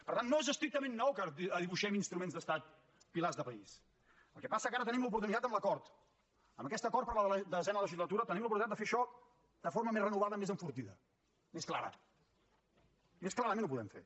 per tant no és estrictament nou que dibuixem instruments d’estat pilars de país el que passa que ara tenim l’oportunitat amb l’acord amb aquest acord per a la desena legislatura tenim l’oportunitat de fer això de forma més renovada més enfortida més clara més clarament ho podem fer